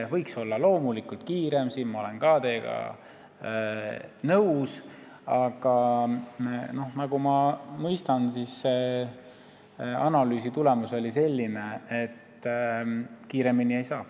Ja loomulikult võiks tempo olla kiirem, siin ma olen teiega nõus, aga nagu ma mõistan, siis see analüüsi tulemus oli selline, et rutem ei saa.